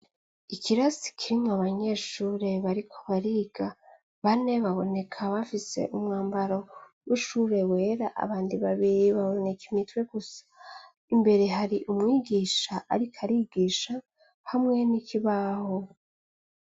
Ikirasi kirimwo abanyeshure bariko bariga, bane baboneka bafise umwambaro w'ishure wera, abandi babiri baboneka umutwe gusa, imbere hari umwigisha ariko arigisha hamwe n'ikibaho.